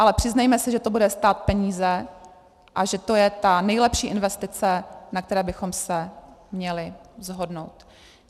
Ale přiznejme si, že to bude stát peníze a že to je ta nejlepší investice, na které bychom se měli shodnout.